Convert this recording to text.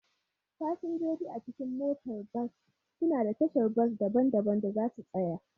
Fasinjoji a cikin motar bas suna da tashar bas daban-daban da za su tsaya